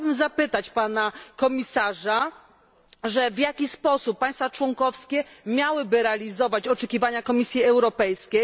I chciałabym zapytać Pana Komisarza w jaki sposób państwa członkowskie miałyby realizować oczekiwania Komisji Europejskiej.